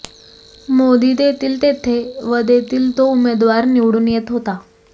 मोदी देतील तेथे व देतील तो उमेदवार निवडून येत होता